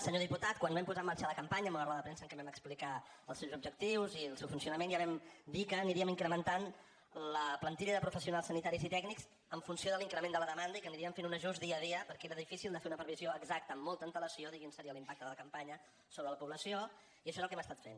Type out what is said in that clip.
senyor diputat quan vam posar en marxa la campanya en una roda de premsa en què vam explicar els seus objectius i el seu funcionament ja vam dir que aniríem incrementant la plantilla de professionals sanitaris i tècnics en funció de l’increment de la demanda i que aniríem fent un ajust dia a dia perquè era difícil de fer una previsió exacta amb molta antelació de quin seria l’impacte de la campanya sobre la població i això és el que hem estat fent